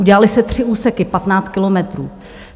Udělaly se tři úseky, 15 kilometrů.